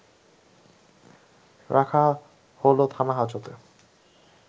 রাখা হলো থানা-হাজতে